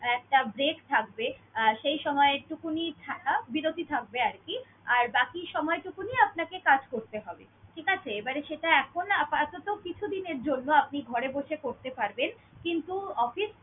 একটা break থাকবে, আর সেই সময়ে থাকা, বিরত থাকবে আর কি। আর বাকি সময়টুকু নিয়ে আপনাকে কাজ করতে হবে। ঠিক আছে? আর এবারে সেটা এখন না আপাতত কিছুদিনের জন্য আপনি ঘরে বসে করতে পারবেন কিন্তু office